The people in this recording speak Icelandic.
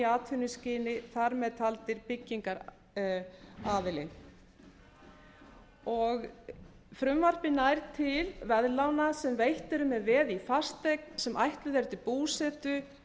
atvinnuskyni þar með talin byggingaraðili frumvarpið nær til veðlána sem veitt eru með veði í fasteign sem ætluð er til búsetu